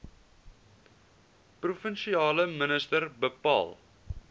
provinsiale minister bepaal